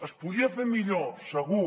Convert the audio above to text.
es podia fer millor segur